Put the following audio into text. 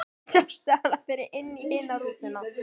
Sástu hana fara inn í hina rútuna?